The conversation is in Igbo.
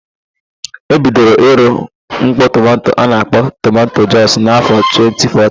E bidoro ịrụ mkpọ tomanto a na-akpọ tomanto jọs n'afọ 2014.